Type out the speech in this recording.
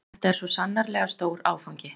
Þetta er svo sannarlega stór áfangi